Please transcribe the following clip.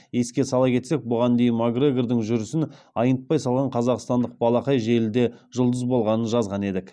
еске сала кетсек бұған дейін макгрегордың жүрісін айнытпай салған қазақстандық балақай желіде жұлдыз болғанын жазған едік